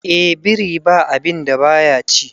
eh biri ba a binda baya ci